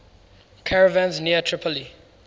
caravans near tripoli